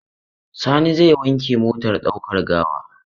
Sani zai wanke motar ɗaukar gawa.